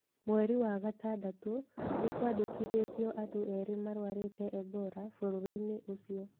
Mweri wa gatandatũ, nĩ kwandĩkithitio andũ erĩ marwarĩte Ebola bũrũri-inĩ ũcio.